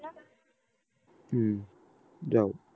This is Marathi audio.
हम्म जाऊ